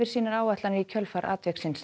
sínar áætlanir í kjölfar atviksins